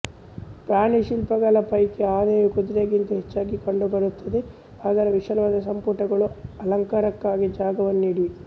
ಪ್ರಾಣಿ ಶಿಲ್ಪಗಳ ಪೈಕಿ ಆನೆಯು ಕುದುರೆಗಿಂತ ಹೆಚ್ಚಾಗಿ ಕಂಡುಬರುತ್ತದೆ ಅದರ ವಿಶಾಲವಾದ ಸಂಪುಟಗಳು ಅಲಂಕರಣಕ್ಕಾಗಿ ಜಾಗವನ್ನು ನೀಡಿವೆ